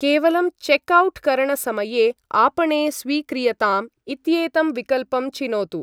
केवलं check out करणसमये आपणे स्वीक्रियताम् इत्येतं विकल्पं चिनोतु।